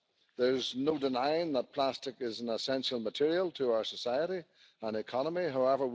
Jätehierarkian mukaisesti ensisijainen tavoite tulee olla jätteen määrän vähentäminen, sitten uudelleenkäyttö ja kierrätys.